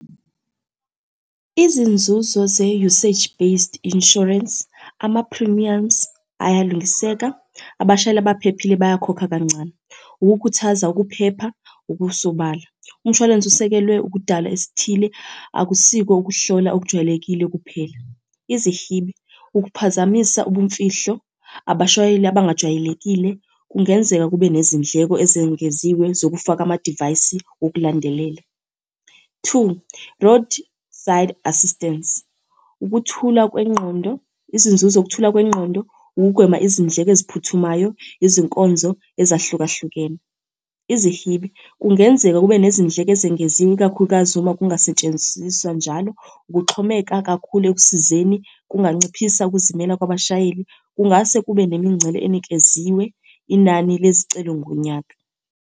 Izinzuzo ze-usage-based Insurance, ama-premiums ayalungiseka, abashayeli abaphephile bayakhokha kancane. Ukukhuthaza ukuphepha okusobala. Umshwalense usekelwe ukudala esithile, akusiko ukuhlola okujwayelekile kuphela. Izihibe, ukuphazamisa ubumfihlo, abashayeli abangajwayelekile, kungenzeka kube nezindleko ezengeziwe zokufaka amadivayisi okulandelela. Two, roasdside assistance. Ukuthula kwengqondo, izinzuzo ukuthula kwengqondo, ukugwema izindleko eziphuthumayo, izinkonzo ezahlukahlukene. Izihibe, kungenzeka kube nezindleko ezengeziwe ikakhulukazi uma kungasetshenziswa njalo. Ukuxhomeka kakhulu ekusizeni, kunganciphisa ukuzimela kwabashayeli. Kungase kube nemingcele enikeziwe inani lezicelo ngonyaka.